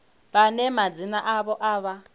vhane madzina avho a vha